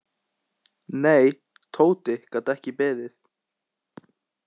Nei, Tóti gat ekki beðið.